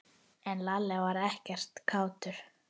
En Lalli var ekkert kátur.